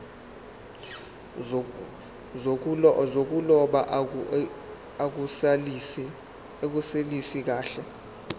zokuloba akunelisi kahle